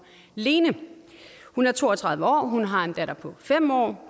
lene hun er to og tredive år hun har en datter på fem år